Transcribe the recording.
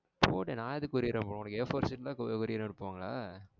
போ டி நா எதுக்கு courier அனுப்பனும் உனக்கு a four sheet எல்லாமா courier அனுப்புவாங்க?